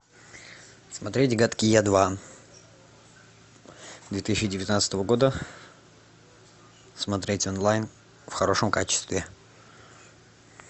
смотреть гадкий я два две тысячи девятнадцатого года смотреть онлайн в хорошем качестве